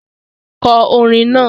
Kọ orin náà!